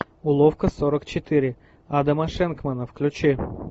уловка сорок четыре адама шенкмана включи